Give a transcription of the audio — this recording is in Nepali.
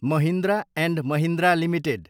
Mahindra and Mahindra limited